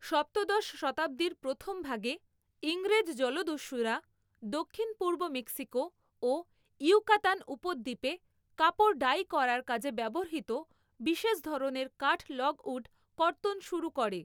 সপ্তদশ শতাব্দীর প্রথমভাগে ইংরেজ জলদস্যুরা দক্ষিণ পূর্ব মেক্সিকো ও ইয়ুকাতান উপদ্বীপে কাপড় ডাই করার কাজে ব্যবহৃত বিশেষ ধরনের কাঠ লগউড কর্তন শুরু করে।